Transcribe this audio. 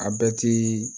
A bɛɛ ti